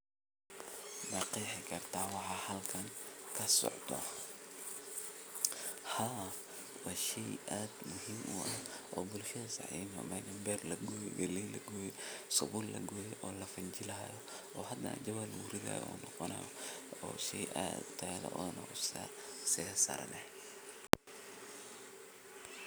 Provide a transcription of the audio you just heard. Halkan waxa ka socda waa hawl beeraleynimo oo muujinaysa waqtigii goosashada galleyda. Sawirka galleyda la goosanayo wuxuu tilmaamayaa dadaal iyo shaqo ay beeraleydu si joogto ah u qabtaan si ay u helaan cunto iyo wax ay suuqa u geyn karaan. Galleyda beerta laga goosanayo waxay astaan u tahay in xilli dheer oo sugid ah kadib ay beeraleydu heleen mirihii ay shaqadooda ku beereen.